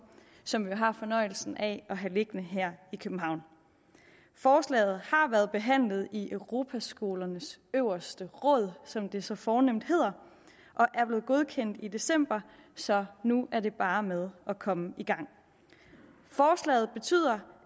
som vi jo har fornøjelsen af at have liggende her i københavn forslaget har været behandlet i europaskolernes øverste råd som det så fornemt hedder og er blevet godkendt i december så nu er det bare med at komme i gang forslaget betyder